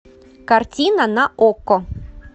картина на окко